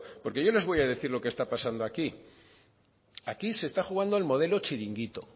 porque yo les voy a decir lo que está pasando aquí aquí se está jugando al modelo chiringuito